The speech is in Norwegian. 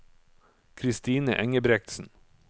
Kristine Engebretsen